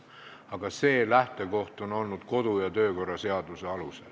Aga see lähtekoht on olnud kodu- ja töökorra seadus.